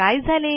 काय झाले